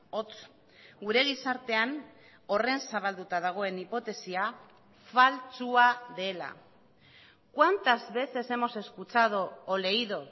hots gure gizartean horren zabalduta dagoen hipotesia faltsua dela cuántas veces hemos escuchado o leído